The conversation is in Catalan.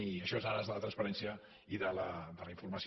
i això és en ares a la transparència i de la informació